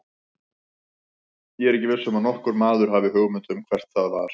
Ég er ekki viss um að nokkur maður hafi hugmynd um hvert það var.